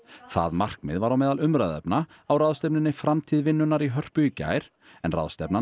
það markmið var á meðal umræðuefna á ráðstefnunni framtíð vinnunnar í Hörpu í gær en ráðstefnan